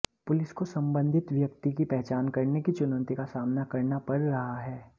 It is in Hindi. पुलिस को संबंधित व्यक्ति की पहचान करने की चुनौती का सामना करना पड़ रहा है